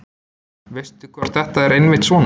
veistu hvort þetta er einmitt svona